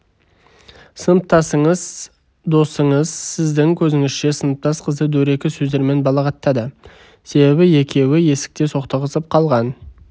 сыныптасыңыз досыңыз сіздің көзіңізше сыныптас қызды дөрекі сөздермен балағаттады себебі екеуі есікте соқтығысып қалған